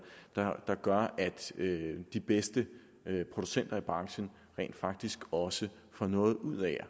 der gør at de bedste producenter i branchen rent faktisk også får noget ud af at